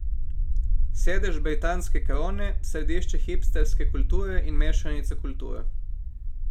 Sedež britanske krone, središče hipsterske kulture in mešanica kultur.